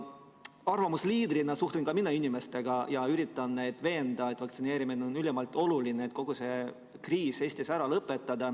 Arvamusliidrina suhtlen ka mina inimestega ja üritan neid veenda, et vaktsineerimine on ülimalt oluline, et kogu see kriis Eestis ära lõpeks.